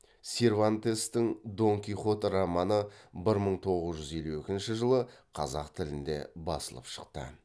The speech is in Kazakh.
сервантестің дон кихот романы бір мың тоғыз жүз елу екінші жылы қазақ тілінде басылып шықты